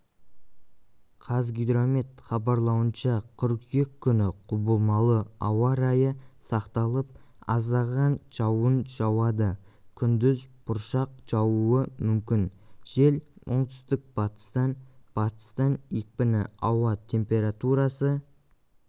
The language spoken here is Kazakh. қазгидромет хабарлауынша қыркүйек күні құбылмалы ауа райы сақталып аздаған жауын жауады күндіз бұршақ жаууы мүмкін жел оңтүстік-батыстан батыстан екпіні ауа температурасы